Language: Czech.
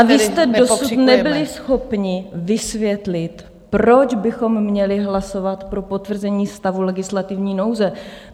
A vy jste dosud nebyli schopni vysvětlit, proč bychom měli hlasovat pro potvrzení stavu legislativní nouze.